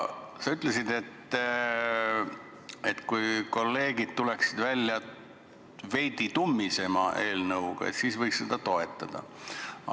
Sa ütlesid, et kui kolleegid tuleksid välja veidi tummisema eelnõuga, siis võiks seda toetada.